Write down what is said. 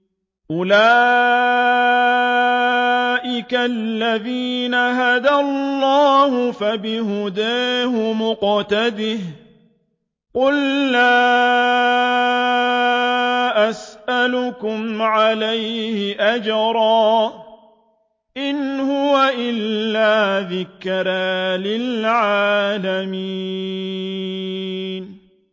أُولَٰئِكَ الَّذِينَ هَدَى اللَّهُ ۖ فَبِهُدَاهُمُ اقْتَدِهْ ۗ قُل لَّا أَسْأَلُكُمْ عَلَيْهِ أَجْرًا ۖ إِنْ هُوَ إِلَّا ذِكْرَىٰ لِلْعَالَمِينَ